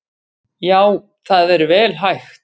Já það er vel hægt.